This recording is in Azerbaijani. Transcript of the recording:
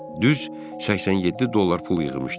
Düz 87 dollar pul yığmışdı.